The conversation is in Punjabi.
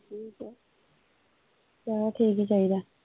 ਚਲੋ ਠੀਕ ਈ ਚਾਹੀਦਾ।